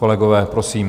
Kolegové, prosím.